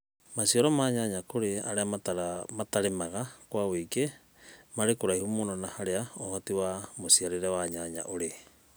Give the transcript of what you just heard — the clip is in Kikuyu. macĩaro ma nyanya kũrĩ arĩa matarĩmaga kwa wũĩngĩ marĩ kũraĩhũ mũno na harĩa ũhotĩ wa mũcĩarĩre wa nyanya ũrĩ